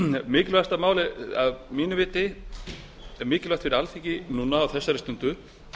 mikilvægasta málið að mínu viti það er mikilvægt fyrir alþingi núna á þessari stundu